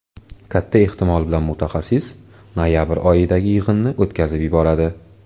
Katta ehtimol bilan mutaxassis noyabr oyidagi yig‘inni o‘tkazib yuboradi.